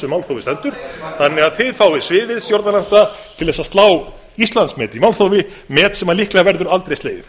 málþófi stendur þannig að þið fáið sviðið stjórnarandstaða til að slá íslandsmet í málþófi met sem líklega verður aldrei slegið